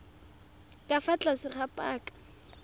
ka fa tlase ga paka